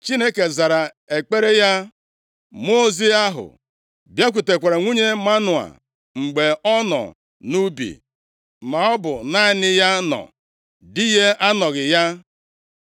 Chineke zara ekpere ya. Mmụọ ozi ahụ bịakwutekwara nwunye Manoa mgbe ọ nọ nʼubi; maọbụ naanị ya nọ, di ya anọghị ya.